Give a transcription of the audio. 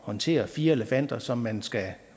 håndtere fire elefanter som man skal